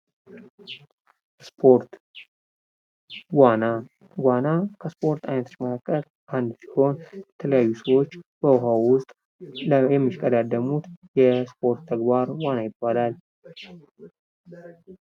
ስፖርት ዋና ዋና ከስፖርት አይነቶች መካከልአንዱ ሲሆን፤ የተለያዩ ሰዎች በውሃ ውስጥ የሚሽቀዳደሙት የስፖርት ተግባር ዋና ይባላል።